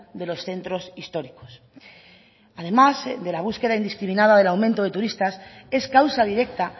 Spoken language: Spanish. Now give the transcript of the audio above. de los centros históricos además de la búsqueda indiscriminada del aumento de turistas es causa directa